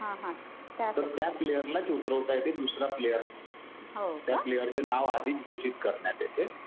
पण त्या प्लेयरलाच उतरवता येते. दुसरा प्लेयर नाही. त्या प्लेयरचं नाव आधीच घोषित करण्यात येते.